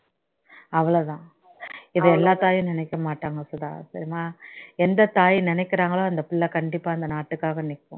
அவளோ தான் இது எல்லா தாயும் நினைக்கமாட்டாங்க சுதா தெரியுமா எந்த தாய் நினைக்கிறாங்களோ அந்த பிள்ளை கண்டிப்பா அந்த நாட்டுக்காக நிக்கும்